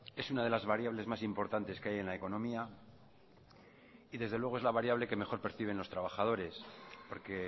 es una de las variables más importantes que hay en la economía y desde luego es la variable que mejor perciben los trabajadores porque